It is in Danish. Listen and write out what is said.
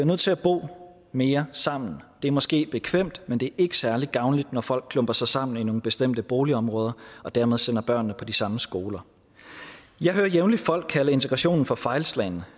nødt til at bo mere sammen det er måske bekvemt men det ikke særlig gavnligt når folk klumper sig sammen i nogle bestemte boligområder og dermed sender børnene i de samme skoler jeg hører jævnligt folk kalde integrationen for fejlslagen